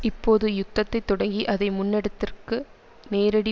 இப்போது யுத்தத்தை தொடங்கி அதை முன்னெடுத்தற்கு நேரடி